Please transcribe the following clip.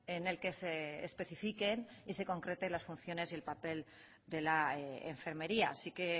en el que se especifiquen y se concreten las funciones y el papel de la enfermería si que